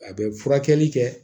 A bɛ furakɛli kɛ